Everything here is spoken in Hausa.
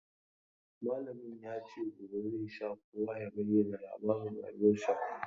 Malamin ya ce gobe zai sa kowa ya bayyana labarin rayuwarsa.